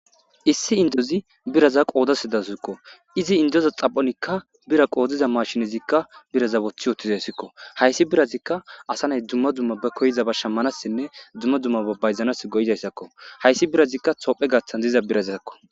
Issi indozi biraza qoodasida suikko izi indoza xaphonikka bira qoodiza mashinizikka biraza wothi ootizaysikko hayssi birazikka asa nay dumma dumma ba koyiza bashammanassinne dumma dumma babbayzanas go'idayssakko hayssi birazikka tophe gathan diza birazaakko.